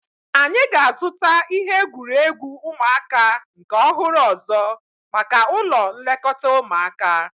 Anyị ga-azuta ihe egwuregwu ụmụaka nke ọhụrụ ọzọ maka ụlọ nlekọta ụmụaka